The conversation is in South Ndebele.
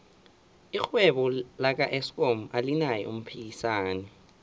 irhwebo laka eskom alinaye umphikisani